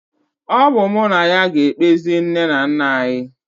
Ọ bụ mụ na ya ga-ekpezi nne na nna anyị